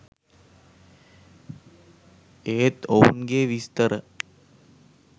ඒත් ඔවුන්ගේ විස්තර